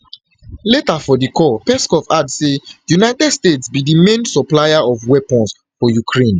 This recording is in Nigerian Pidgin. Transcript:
later for di call peskov add say united states bin be di main supplier of weapons for ukraine